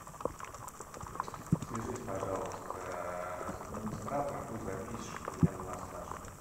свяжись пожалуйста с администратором пусть запишет меня на массаж